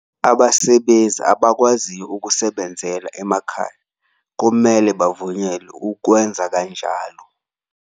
Abasebenzi abakwaziyo ukusebenzela emakhaya kumele bavunyelwe ukwenza kanjalo.